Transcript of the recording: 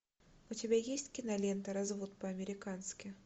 у тебя есть кинолента развод по американски